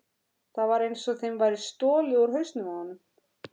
Það var einsog þeim væri stolið úr hausnum á honum.